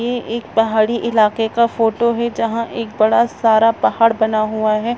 ये एक पहाड़ी इलाके का फोटो है जहां एक बड़ा सारा पहाड़ बना हुआ है।